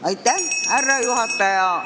Austatud härra juhataja!